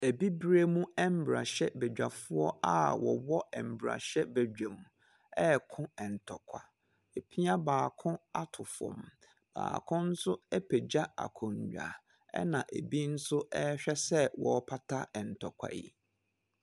Abibirem mmarahyɛbadwafoɔ a wɔwɔ mmarahyɛbadwam reko ntɔkwa. Wɔapia baako ato fam. Baako nso apagya akonnwa, ɛnna ebi nso rehwɛ sɛ wɔrepata ntɔkwa yi.